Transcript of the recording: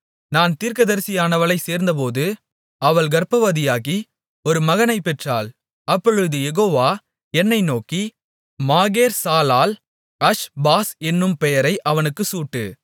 நான் தீர்க்கதரிசியானவளைச் சேர்ந்தபோது அவள் கர்ப்பவதியாகி ஒரு மகனைப் பெற்றாள் அப்பொழுது யெகோவா என்னை நோக்கி மகேர்சாலால்அஷ்பாஸ் என்னும் பெயரை அவனுக்குச் சூட்டு